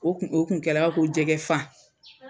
O kun o kun kɛra i b'a fɔ ko jɛgɛ fan.